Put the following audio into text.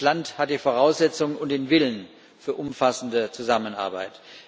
Das Land hat die Voraussetzungen und den Willen für umfassende Zusammenarbeit.